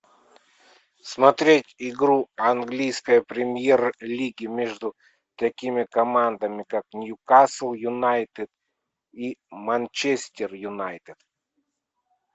смотреть игру английской премьер лиги между такими командами как ньюкасл юнайтед и манчестер юнайтед